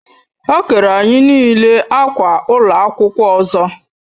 Ha kere anyi n'ile akwa ụlọ akwụkwọ ọzọ